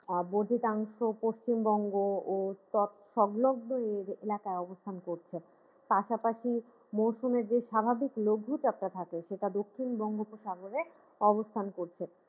বোহিতাংশ পশ্চিমবঙ্গ ও সব সংলগ্ন এলাকায় অবস্থান করছে পাশাপাশি মৌসুমের যে স্বাভাবিক লঘু চাপটা থাকে সেটা দক্ষিণ বঙ্গ উপসাগরে অবস্থান করছে।